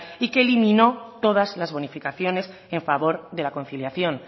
y que eliminó todas las bonificaciones en favor de la conciliación